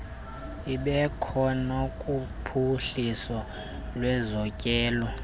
ibekho nakuphuhliso lwezotyelelo